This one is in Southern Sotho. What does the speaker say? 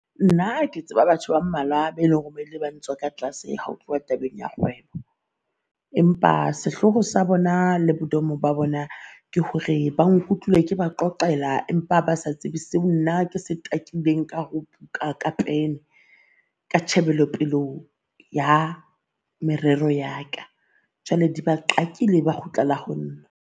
Nna ke tseba batho ba mmalwa be leng hore ba ile bang tswa ka tlase ha o tloha tabeng ya kgwebo. Empa sehloho sa bona, le bo domo ba bona ke hore ba nkutlwile ke ba qoqela empa ba sa tsebe seo nna ke se ka ho buka ka pene ka tjhebelo pelo ho ya merero yaka Jwale di ba qakile, ba kgutlela ho nna.